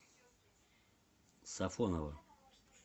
сафоново